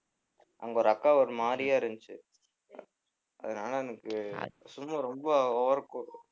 அங்க ஒரு அக்கா ஒரு மாதிரியா இருந்துச்சு அதனால எனக்கு சும்மா ரொம்ப over கோ~